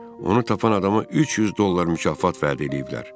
Onu tapan adama 300 dollar mükafat vəd eləyiblər.